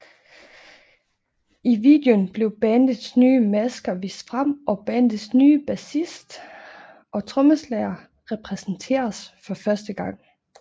I videoen blev bandets nye masker vist frem og bandets nye bassist og trommeslager præsenteres for første gang